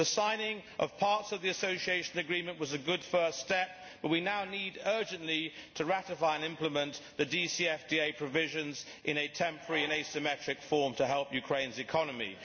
The signing of parts of the Association Agreement was a good first step but we now need urgently to ratify and implement the DCFTA provisions in a temporary and asymmetric form to help Ukraine's economy.